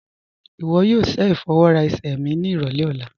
Iwọ yóò ṣẹ ifọwọra ẹ̀sẹ̀ mi ni irọlẹ̀ ọ̀la